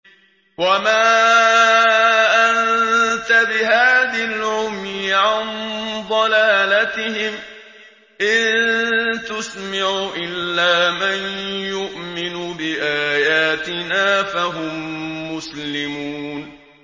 وَمَا أَنتَ بِهَادِ الْعُمْيِ عَن ضَلَالَتِهِمْ ۖ إِن تُسْمِعُ إِلَّا مَن يُؤْمِنُ بِآيَاتِنَا فَهُم مُّسْلِمُونَ